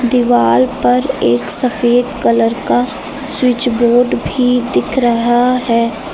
दीवार पर एक सफेद कलर का स्विच बोर्ड भी दिख रहा है।